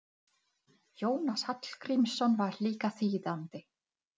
Okkur vantar marga stóla og margar tölvur.